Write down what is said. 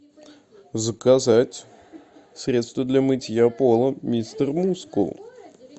заказать средство для мытья пола мистер мускул